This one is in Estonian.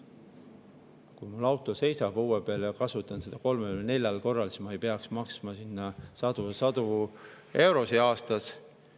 Kui mul auto seisab õue peal ja kasutan seda kolmel või neljal korral, siis ma ei peaks maksma sadu ja sadu eurosid aastas.